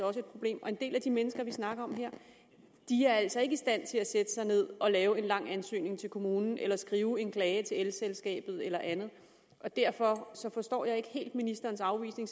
også et problem og en del af de mennesker vi snakker om her er altså ikke i stand til at sætte sig ned og lave en lang ansøgning til kommunen eller skrive en klage til elselskabet eller andet derfor forstår jeg ikke helt ministerens afvisning